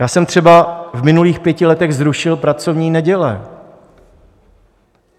Já jsem třeba v minulých pěti letech zrušil pracovní neděle.